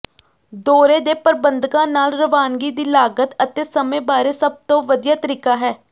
ਦੌਰੇ ਦੇ ਪ੍ਰਬੰਧਕਾਂ ਨਾਲ ਰਵਾਨਗੀ ਦੀ ਲਾਗਤ ਅਤੇ ਸਮੇਂ ਬਾਰੇ ਸਭ ਤੋਂ ਵਧੀਆ ਤਰੀਕਾ ਹੈ